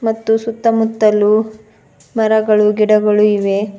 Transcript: ಮತ್ತು ಸುತ್ತಮುತ್ತಲು ಮರಗಳು ಗಿಡಗಳು ಇವೆ.